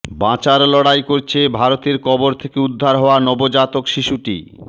বাঁচার লড়াই করছে ভারতে কবর থেকে উদ্ধার হওয়া নবজাতক শিশুটি